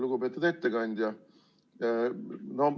Lugupeetud ettekandja!